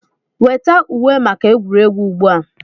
Weta uwe maka egwuregwu ugbu a!